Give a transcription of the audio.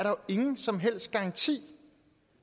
jo ingen som helst garanti